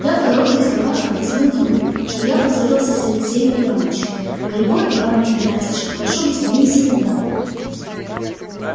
я в коротких словах объяснил ему что я поссорился с алексеем иванычем а его ивана игнатьича прошу быть моим секундантом